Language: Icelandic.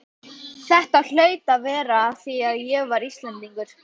Þetta hlaut að vera af því að ég var Íslendingur.